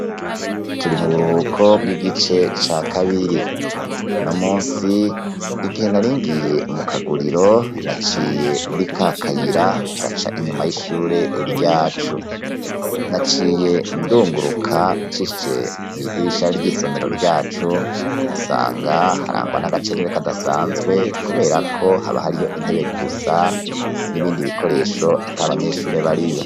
Turi mu buruko bw'igice ca kabiri, uno munsi igihe naringiye mu kaguriro naciye muri kakayira gaca inyuma y'ishure ryacu, naciye ndunguruka nshiije muri ryadirishara ry'isomero ryacu nsanga harangwa n'agacerere kadasanzwe, kuberako haba hariyo intebe gusa n'ibindi bikoresho atabanyeshure bariyo.